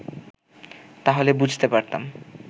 তাহলে বুঝতে পারতাম